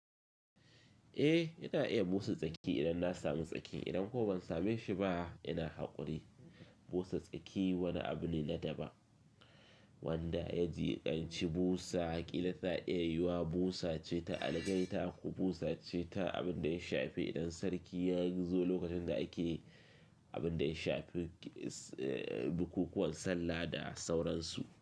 Eh, ina iya busa tsaki idan na samu tsaki. Idan kuma ban same shi ba, ina haƙuri. Busa tsaki wani abu ne na daban wanda ya ji anci busa kila. Tana iya yiwa busa ce ta algaita ko busa ce ta abin da ya shafi idan sarki ya gizo lokacin da ake abin da ya shafi bukukuwan sallah da sauransu.